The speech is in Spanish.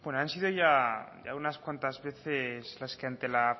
han sido ya unas cuantas veces las que ante la